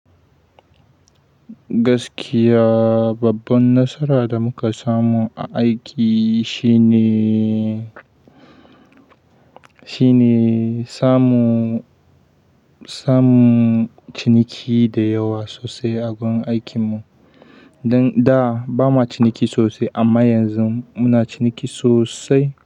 Gaskiya babban nasara da muka samu a aiki shine, shine samu, samunciniki da yawa sosai a gun aikinmu. Dan da ba ma ciniki sosai amma yanzu muna ciniki sosai.